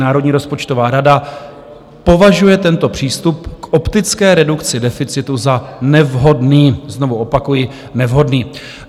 Národní rozpočtová rada považuje tento přístup k optické redukci deficitu za nevhodný, znovu opakuji, nevhodný.